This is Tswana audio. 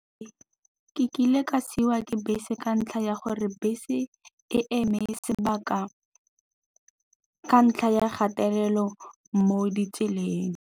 Ke kile ka siwa ke bese ka ntlha ya gore bese e eme sebaka ka ntlha ya gatelelo mo ditseleng.